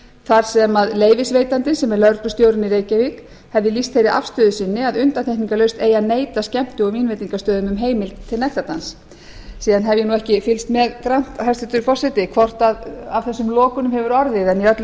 þar sem leyfisveitandi sem er lögreglustjórinn í reykjavík hefði lýst þeirri afstöðu sinni að undantekningarlaust eigi að neita skemmti og vínveitingastöðum um heimild til nektardans síðan hef ég ekki fylgst með grannt hæstvirtur forseti hvort af þessum lokunum hefur orðið en í öllu